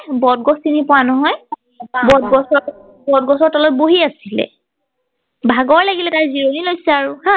বট গছ চিনি পোৱা নহয় পাও পাও বট বট গছৰ তলত বহি আছিলে ভাগৰ লাগিলে তাৰ জিৰণি লৈছে আৰু হা